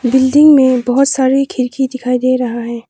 Building में बहुत सारी खिड़की दिखाई दे रहा है।